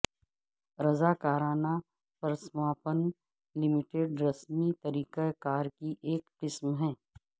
رضاکارانہ پرسماپن لمیٹڈ رسمی طریقہ کار کی ایک قسم ہے